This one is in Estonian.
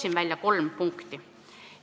Toon välja kolm punkti.